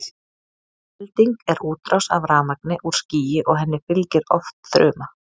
elding er útrás af rafmagni úr skýi og henni fylgir oft þruma